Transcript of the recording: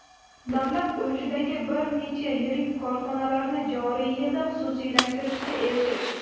davlat ulushidagi bir necha yirik korxonalarni joriy yilda xususiylashtirishga erishish;.